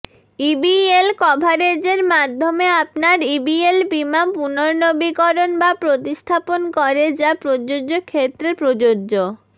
EBL কভারেজের মাধ্যমে আপনার ইবিএল বীমা পুনর্নবীকরণ বা প্রতিস্থাপন করে যা প্রযোজ্য ক্ষেত্রে প্রযোজ্য